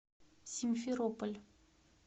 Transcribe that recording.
симферополь